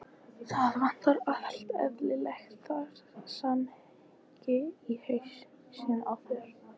Það vantar allt eðlilegt samhengi í hausinn á þér.